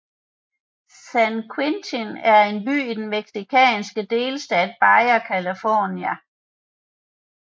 San Quintín er en by i den mexicanske delstat Baja California